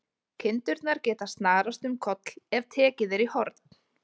Kindurnar geta snarast um koll ef tekið er í horn.